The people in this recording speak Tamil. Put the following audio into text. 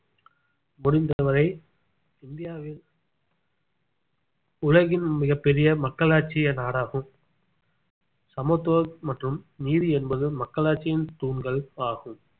முடிந்தவரை இந்தியாவில் உலகின் மிகப் பெரிய மக்களாட்சிய நாடாகும் சமத்துவம் மற்றும் நீதி என்பது மக்களாட்சியின் தூண்கள் ஆகும்